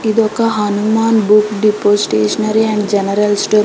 ఇదొక Hanuman books depot stationery and general store